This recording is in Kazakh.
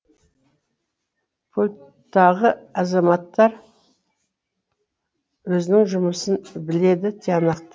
пульттағы азаматтар өзінің жұмысын біледі тиянақты